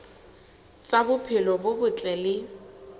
tsa bophelo bo botle le